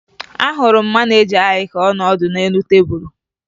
Ahụrụ m maneja anyị ka ọ nọ ọdụ n'elu tebulu